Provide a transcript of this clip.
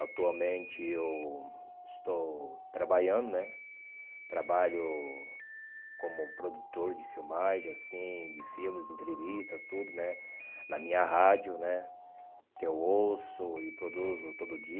Atualmente eu estou trabalhando né, trabalho como produtor de filmagem assim, de filmes, entrevistas, tudo né, na minha rádio né, que eu ouço e produzo todo dia.